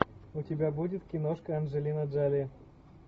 у тебя будет киношка анджелина джоли